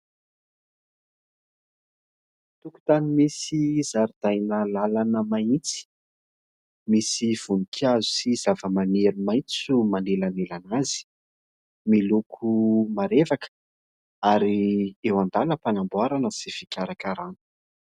Tokotany misy zaridaina lalana mahitsy, misy voninkazo sy zavamaniry maitso manelanelana azy, miloko marevaka ary eo andalam- panamboarana sy fikarakarana.